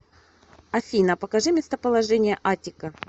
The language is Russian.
афина покажи местоположение аттика